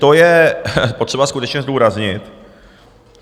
To je potřeba skutečně zdůraznit.